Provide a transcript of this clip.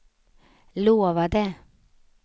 lovade